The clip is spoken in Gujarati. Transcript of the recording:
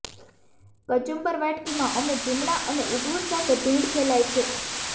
કચુંબર વાટકી માં અમે ચીમણા અને ઊગવું સાથે ભીડ ફેલાય છે